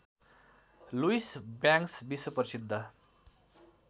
Louis Banks विश्वप्रसिद्ध